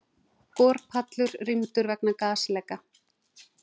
Borpallur rýmdur vegna gasleka